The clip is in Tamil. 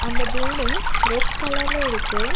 அந்த பில்டிங் ரெட் கலர்ல இருக்கு.